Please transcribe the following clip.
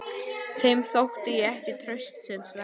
Þeim þótti ég ekki traustsins verður.